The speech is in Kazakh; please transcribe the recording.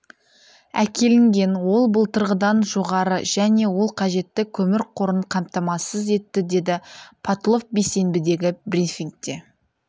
әкелінген ол былтырғыдан жоғары және ол қажетті көмір қорын қамтамасыз етті деді потлов бейсенбідегі брифингте